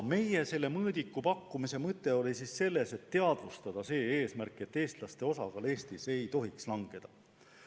Selle mõõdiku pakkumise mõte oli meil selles, et teadvustada eesmärki, et eestlaste osakaal Eestis ei tohiks kahaneda.